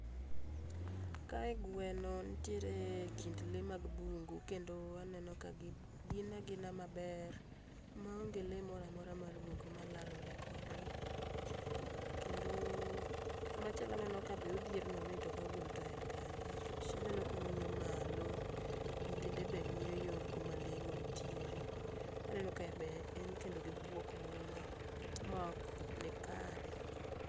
Kae gweno nitiere kind lee mag bungu kendo aneno ka gi, gin agina maber. maonge lee moro amora mar bungu malarore kodgi kendo machielo aneno ka odhier nono ni to kawuono to en kanye nikech aneno ka ong'iyo malo, nyithinde be ng'iyo yor kuma lee go nitie. Aneno en be en kendo gi buok moro maok nikare